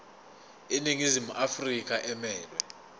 iningizimu afrika emelwe